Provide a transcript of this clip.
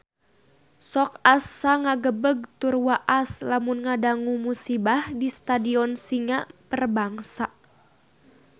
Sok asa ngagebeg tur waas lamun ngadangu musibah di Stadion Singa Perbangsa